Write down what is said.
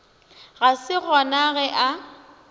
ga se gona ge a